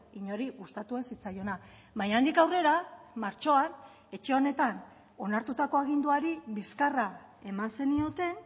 inori gustatu ez zitzaiona baina handik aurrera martxoan etxe honetan onartutako aginduari bizkarra eman zenioten